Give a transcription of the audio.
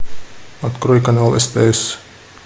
открой канал стс